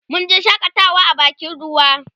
munje shakatawa a bakin ruwa